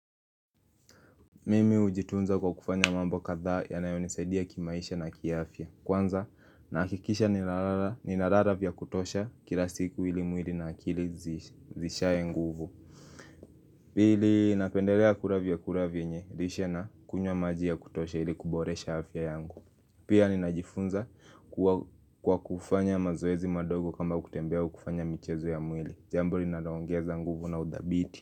Mimi ujitunza kwa kufanya mambo kadhaa ya nayoni saidia kimaisha na kia afya Kwanza nakikisha ninararavya kutosha kila siku ili mwili na akili zishaye nguvu Pili napendelea kuravya kuravya nye lishena kunywa maji ya kutosha ili kuboresha afya yangu Pia ninajifunza kwa kufanya mazoezi madogo kama kutembea au kufanya michezo ya mwili jambo linaloongeza nguvu na udhabiti.